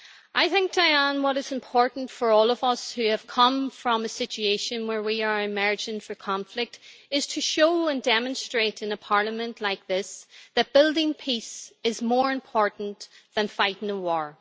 I think what is important for all of us who have come from a situation where we are emerging from conflict is to show and demonstrate in a parliament like this that building peace is more important than fighting a war.